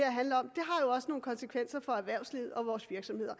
har også nogle konsekvenser for erhvervslivet og vores virksomheder